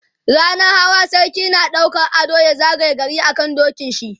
rannan Hawa sarki na ɗaukan ado ya zagaye gari a kan dokin shi